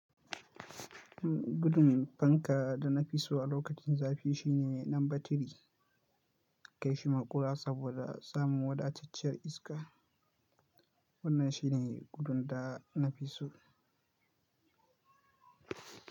Gudumin fanka da na fi so a lokacin zafi shi ne lamba tiri. Kai shi muƙura saboda samun wadatacciyar iska. Wannan shi ne gudun da na fi so.